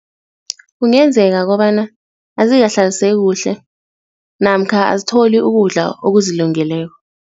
Kungenzeka kobana azikahlaliseki kuhle namkha azitholi ukudla okuzilungeleko.